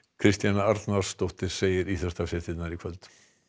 Kristjana Arnarsdóttir segir íþróttafréttir í kvöld